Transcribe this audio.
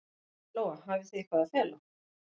Lóa: Hafið þið eitthvað að fela?